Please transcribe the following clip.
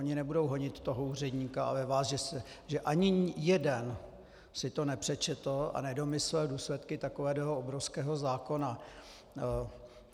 Oni nebudou honit toho úředníka, ale vás, že ani jeden si to nepřečetl a nedomyslel důsledky takového obrovského zákona.